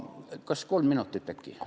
Kas kolm minutit äkki?